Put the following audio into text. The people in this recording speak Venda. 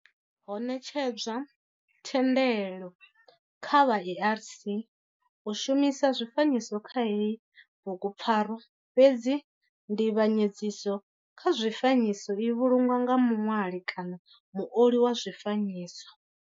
Ho netshedzwa thendelo kha vha ARC u shumisa zwifanyiso kha heyi bugupfarwa fhedzi nzivhanyedziso kha zwifanyiso i vhulungwa nga muṋwali muoli wa zwifanyiso.